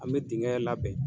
An be dingɛ labɛn